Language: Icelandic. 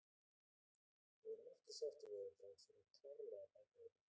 Við erum ekki sáttir við þetta og við þurfum klárlega að bæta þetta.